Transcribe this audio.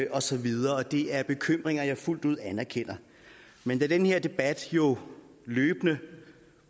og så videre det er bekymringer jeg fuldt ud anerkender men da den her debat jo løbende